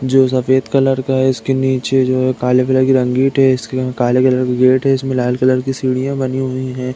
जो सफ़ेद कलर का है। इसके नीचे जो है काले कलर की काले कलर की गेट है। इसमें लाल कलर की सीढ़िया बनी हुई है।